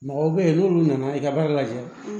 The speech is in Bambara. Mɔgɔw bɛ yen n'olu nana i ka baara la ten